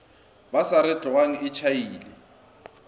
ba sa re tlogang tšhaile